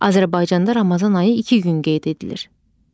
Azərbaycanda Ramazan ayı iki gün qeyd edilir.